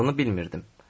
Adını bilmirdim.